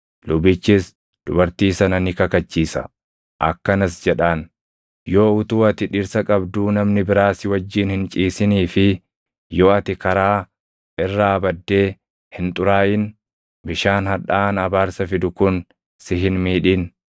Lubichis dubartii sana ni kakachiisa; akkanas jedhaan; “Yoo utuu ati dhirsa qabduu namni biraa si wajjin hin ciisinii fi yoo ati karaa irraa baddee hin xuraaʼin bishaan hadhaaʼaan abaarsa fidu kun si hin miidhin.